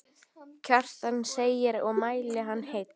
Kjartan segir og mæli hann heill.